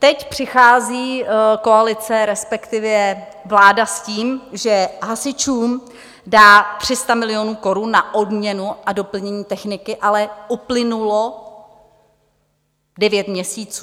Teď přichází koalice, respektive vláda, s tím, že hasičům dá 300 milionů korun na obměnu a doplnění techniky, ale uplynulo devět měsíců.